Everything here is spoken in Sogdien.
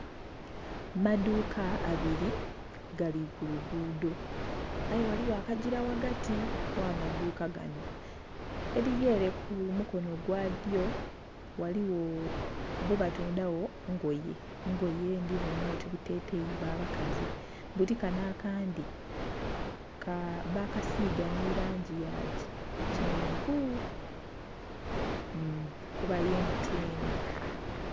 Amaduka ababiri gali kulugudho aye ghaligho akagiila ghagati gha amaduka ganho, erili ere ku mukonho gwadyo ghaligho Bo batundha gho ngoye, engoye ndhibonha oti buteteyi bwa bakazi buti kanho akandhi bakasiga nhi langi ya kyenvu kuba ye mutyeni.